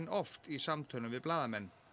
oft í samtölum við blaðamenn